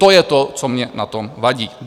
To je to, co mně na tom vadí.